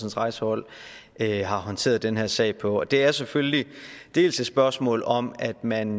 rejsehold har håndteret den her sag på det er selvfølgelig dels et spørgsmål om at man